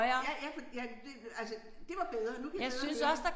Ja ja for ja det altså det var bedre nu kan jeg høre det hele